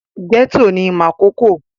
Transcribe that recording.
Gẹ́tọ̀ ni Makòko